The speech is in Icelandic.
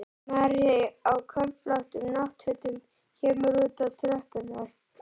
Maður á köflóttum náttfötum kemur út á tröppurnar.